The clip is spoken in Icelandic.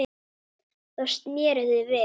Þá sneru þau við.